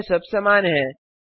अन्य सब समान हैं